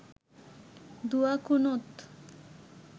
দুয়া কুনুত